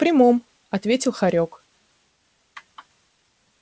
в прямом ответил хорёк